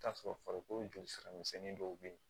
T'a sɔrɔ farikolo jolisira misɛnnin dɔw bɛ yen